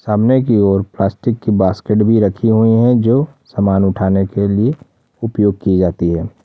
सामने की ओर प्लास्टिक की बास्केट भी रखी हुई है जो सामान उठाने के लिए उपयोग की जाती है।